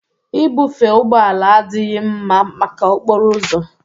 Ibufe ụgbọ ala adịghị mma maka okporo ụzọ